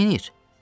Orda neyləyir?